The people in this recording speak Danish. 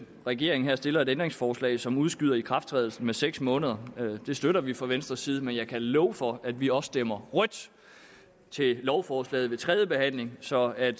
regeringen her stiller et ændringsforslag som udskyder ikrafttrædelsen med seks måneder det støtter vi fra venstres side men jeg kan love for at vi også stemmer rødt til lovforslaget ved tredje behandling så at